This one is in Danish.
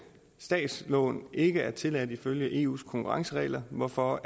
statslån ikke er tilladt ifølge eus konkurrenceregler hvorfor